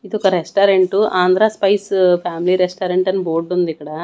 ఇదొక restaurant Andhra spice family restaurant అని బోర్డుంది ఇక్కడ.